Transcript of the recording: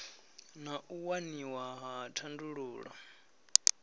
na u waniwa ha thandululo